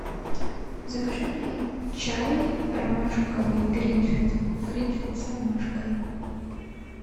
закажи мне чай ромашковый гринфилд гринфилд с ромашкой